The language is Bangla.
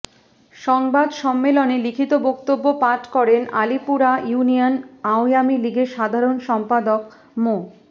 সংবাদ সম্মেলনে লিখিত বক্তব্য পাঠ করেন আলীপুরা ইউনিয়ন আওয়ামী লীগের সাধারণ সম্পাদক মো